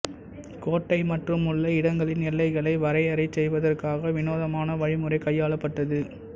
கோட்டை மற்றுமுள்ள இடங்களின் எல்லைகளை வரையறை செய்வதற்காக விநோதமான வழிமுறை கையாளப்பட்டது